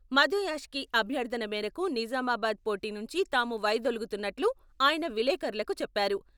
మధుయాష్కీ అభ్యర్థన మేరకు నిజామాబాద్ పోటీ నుంచి తాము వైదొలుగుతున్నట్లు ఆయన విలేఖరులకు చెప్పారు.